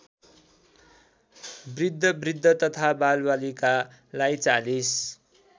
बृद्धबृद्धा तथा बालबालिकालाई ४०